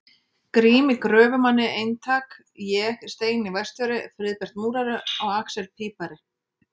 Grími gröfumanni eintak, ég, Steini verkstjóri, Friðbert múrari og axel pípari.